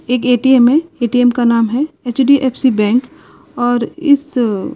एक ए_टी_एम है ए_टी_एम का नाम है एच_डी_एफ_सी बैंक और इस --